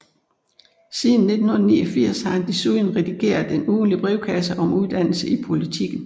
Siden 1989 har han desuden redigeret en ugentlig brevkasse om uddannelse i Politiken